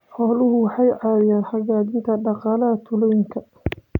Xooluhu waxay ka caawiyaan xoojinta dhaqaalaha tuulooyinka.